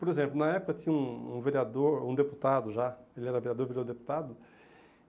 Por exemplo, na época tinha um um vereador, um deputado já, ele era vereador, virou deputado.